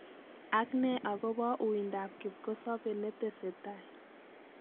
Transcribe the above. Agnee agobouuindoab kipgosobe netesetai.